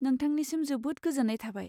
नोंथांनिसिम जोबोद गोजोन्नाय थाबाय।